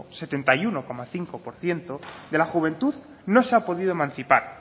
setenta y uno coma cinco por ciento de la juventud no se ha podido emancipar